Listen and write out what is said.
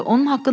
O hardadır?